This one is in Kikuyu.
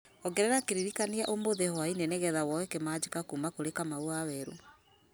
ongerera kĩririkania ũmũthĩ hwaĩ-inĩ nĩgetha woye kĩmanjĩka kuma kurĩ kamau waweru